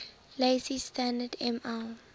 lazy standard ml